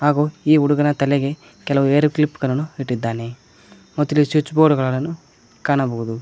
ಹಾಗು ಈ ಹುಡುಗನ ತಲೆಗೆ ಕೆಲವು ಹೇರ ಕ್ಲಿಪ್ ಗಳನ್ನು ಇಟ್ಟಿದ್ದಾನೆ ಮತತ್ತು ಇಲ್ಲಿ ಸ್ವಿಚ್ ಬೋರ್ಡ್ ಗಳನ್ನು ಕಾಣಬಹುದು.